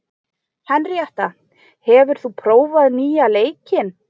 Henríetta, hefur þú prófað nýja leikinn?